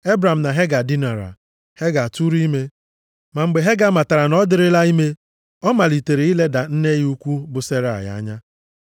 Ebram na Hega dinara. Hega tụụrụ ime. Ma mgbe Hega matara na ọ dịrịla ime, ọ malitere ileda nne ya ukwu bụ Serai anya.